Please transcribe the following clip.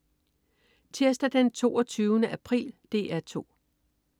Tirsdag den 22. april - DR 2: